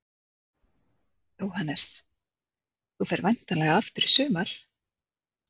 Jóhannes: Þú ferð væntanlega aftur í sumar?